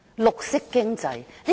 綠色經濟？